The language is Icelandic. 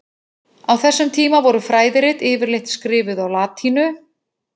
Á þessum tíma voru fræðirit yfirleitt skrifuð á latínu.